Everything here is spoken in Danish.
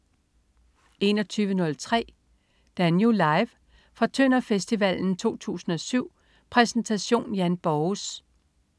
21.03 Danú. Live. Fra Tønder Festival 2007. Præsentation: Jan Borges